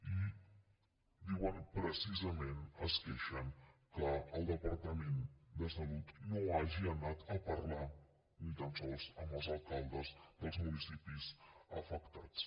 i diuen precisament se’n queixen que el departament de salut no hagi anat a parlar ni tan sols amb els alcaldes dels municipis afectats